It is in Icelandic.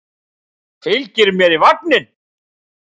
Fylgir mér í vagninn.